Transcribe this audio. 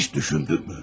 Heç düşündünmü?